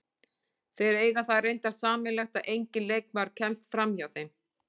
Þeir eiga það reyndar sameiginlegt að enginn leikmaður kemst framhjá þeim.